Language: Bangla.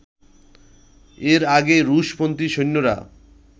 এর আগে রুশ-পন্থী সৈন্যরা